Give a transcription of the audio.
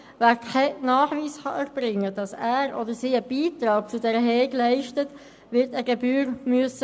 Wer keinen Nachweis erbringen kann, dass er oder sie einen Beitrag zur Hege leistet, wird eine Gebühr bezahlen müssen.